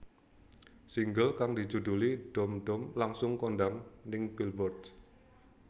Single kang dijuduli Dhoom Dhoom langsung kondhang ning Billboards